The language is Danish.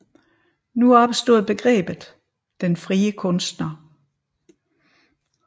Nu opstod begrebet den frie kunstner